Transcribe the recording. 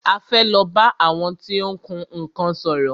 A fẹ́ lọ bá àwọn tí ó ń kun nnkan sòrò.